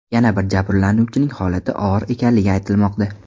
Yana bir jabrlanuvchining holati og‘ir ekanligi aytilmoqda.